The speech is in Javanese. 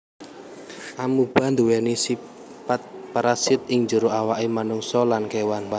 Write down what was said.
Amoeba nduwèni sipat parasit ing jero awaké manungsa lan kéwan